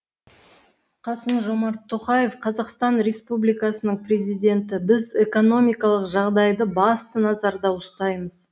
қасым жомарт тоқаев қазақстан республикасының президенті біз экономикалық жағдайды басты назарда ұстаймыз